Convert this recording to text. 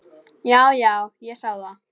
Já, já, ég sá það.